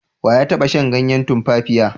We ya taba shan ganyen tumfafiya?